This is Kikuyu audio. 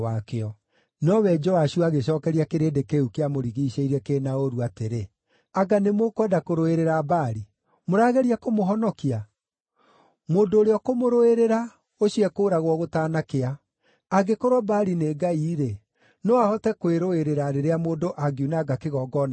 Nowe Joashu agĩcookeria kĩrĩndĩ kĩu kĩamũrigiicĩirie kĩ na ũũru atĩrĩ, “Anga nĩmũkwenda kũrũĩrĩra Baali? Mũrageria kũmũhonokia? Mũndũ ũrĩa ũkũmũrũĩrĩra, ũcio ekũũragwo gũtanakĩa! Angĩkorwo Baali nĩ ngai-rĩ, no ahote kwĩrũĩrĩra rĩrĩa mũndũ angiunanga kĩgongona gĩake.”